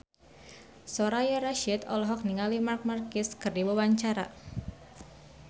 Soraya Rasyid olohok ningali Marc Marquez keur diwawancara